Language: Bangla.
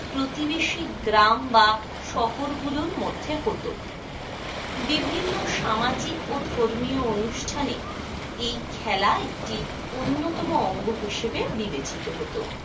প্রতিবেশী গ্রাম বা শহর গুলোর মধ্যে হত। বিভিন্ন সামাজিক ও ধর্মীয় অনুষ্ঠানে একটি অন্যতম অঙ্গ হিসেবে বিবেচিত হতো।